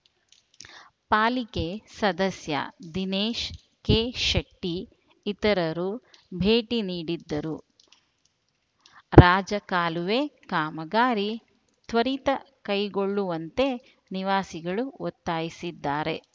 ಪಾಲಿಕೆ ಸದಸ್ಯ ದಿನೇಶ ಕೆಶೆಟ್ಟಿಇತರರು ಭೇಟಿ ನೀಡಿದ್ದರು ರಾಜ ಕಾಲುವೆ ಕಾಮಗಾರಿ ತ್ವರಿತ ಕೈಗೊಳ್ಳುವಂತೆ ನಿವಾಸಿಗಳು ಒತ್ತಾಯಿಸಿದ್ದಾರೆ